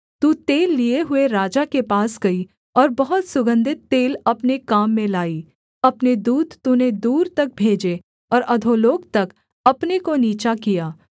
तू तेल लिए हुए राजा के पास गई और बहुत सुगन्धित तेल अपने काम में लाई अपने दूत तूने दूर तक भेजे और अधोलोक तक अपने को नीचा किया